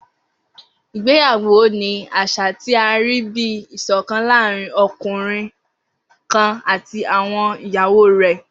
Igbeyawo ni aṣa ti a rii bi iṣọkan laarin ọkunrin kan ati àwọn iyawo rẹ.